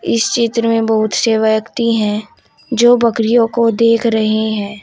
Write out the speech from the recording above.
इस चित्र में बहुत से व्यक्ति हैं जो बकरियों को देख रहे हैं।